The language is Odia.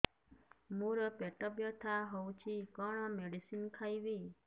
ମୋର ପେଟ ବ୍ୟଥା ହଉଚି କଣ ମେଡିସିନ ଖାଇବି